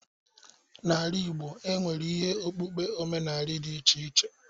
N'ala igbo, e nwere ihe okpukpe omenaala dị iche iche.